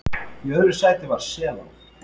Í öðru sæti var Selá